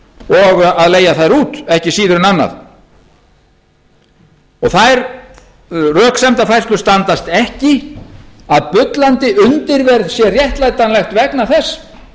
og að leigja þær út ekki síður en annað þær röksemdafærslur standast ekki að bullandi undirverð sé réttlætanlegt vegna þess